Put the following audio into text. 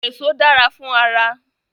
Èso dára fún ara